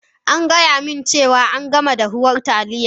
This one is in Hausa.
An gaya mini cewa an gama dahuwar Taliya